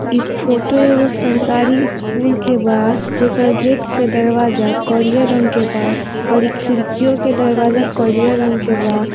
इ फोटो एगो सरकारी स्कूल के बा जेकर गेट के दरवाजा करियर रंग के बा अउरी खिड़कियों के दरवाजा करियर रंग के बा।